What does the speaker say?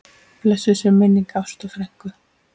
Blessuð sé minning Ástu frænku.